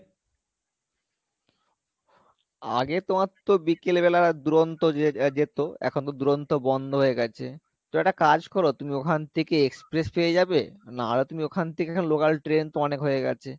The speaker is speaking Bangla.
আগে তোমার তো বিকেল বেলা দুরন্ত যে~যেত এখন তো দুরন্ত বন্ধ হয়ে গেছে তো একটা কাজ করো তুমি ওখান থেকে express পেয়ে যাবে নাহলে তুমি ওখান থেকে local train তো অনেক হয়ে গেছে,